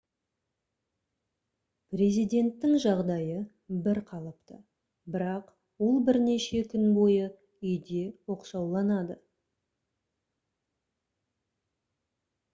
президенттің жағдайы бір қалыпты бірақ ол бірнеше күн бойы үйде оқшауланады